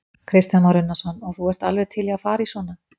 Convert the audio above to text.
Kristján Már Unnarsson: Og þú ert alveg til í að fara í svona?